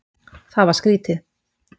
Það var skrýtið.